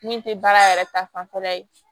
Min tɛ baara yɛrɛ ta fanfɛla ye